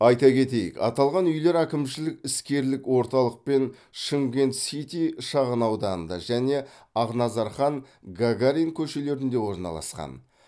айта кетейік аталған үйлер әкімшілік іскерлік орталық пен шымкент сити шағынауданында және ақназархан гагарин көшелерінде орналасқан